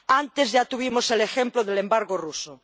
Antes ya tuvimos el ejemplo del embargo ruso.